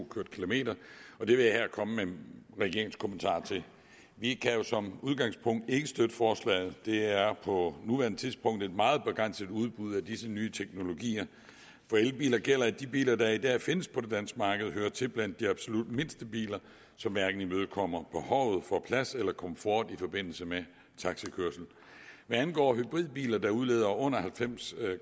kørt kilometer og det vil jeg her komme med regeringens kommentarer til vi kan jo som udgangspunkt ikke støtte forslaget der er på nuværende tidspunkt et meget begrænset udbud af disse nye teknologier for elbiler gælder at de biler der i dag findes på det danske marked hører til blandt de absolut mindste biler som hverken imødekommer behovet for plads eller komfort i forbindelse med taxakørsel hvad angår hybridbiler der udleder under halvfems